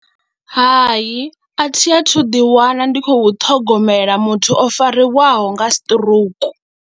Hai a thi athu ḓiwana ndi khou ṱhogomela muthu o fariwaho nga siṱirouku.